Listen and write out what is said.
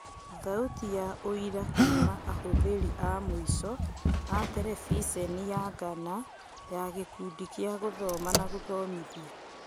Thauti na ũira kuuma ahũthĩri a mũico a Terebiceniya Ghana na Gĩkundi kĩa gũthoma na gũthomithia.